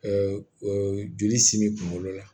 joli simi kunkolo la